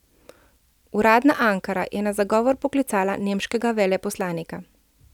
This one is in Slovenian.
Uradna Ankara je na zagovor poklicala nemškega veleposlanika.